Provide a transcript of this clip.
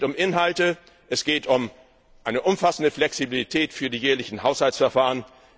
Es geht um Inhalte, es geht um eine umfassende Flexibilität für die jährlichen Haushaltsverfahren.